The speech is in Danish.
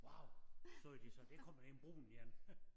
Wow så var de så der kommer en brun én